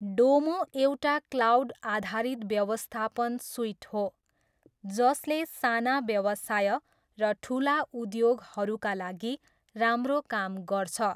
डोमो एउटा क्लाउड आधारित व्यवस्थापन सुइट हो जसले साना व्यवसाय र ठुला उद्योगहरूका लागि राम्रो काम गर्छ।